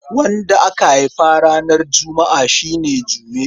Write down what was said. Wanda aka haifa ranar Juma'a shi ne Jume.